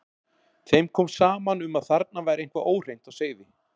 Þeim kom saman um að þarna væri eitthvað óhreint á seiði.